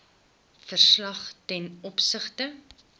verslag ten opsigte